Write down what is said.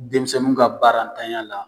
Denmisɛnnu ka baaratanya la